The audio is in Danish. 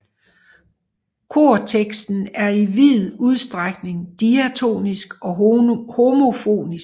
Korteksten er i vid udstrækning diatonisk og homofonisk